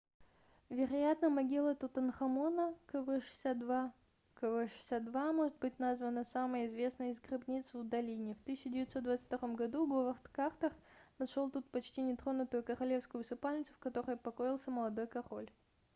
вероятно могила тутанхамона kv62. kv62 может быть названа самой известной из гробниц в долине. в 1922 году говард картер нашел тут почти нетронутую королевскую усыпальницу в которой покоился молодой король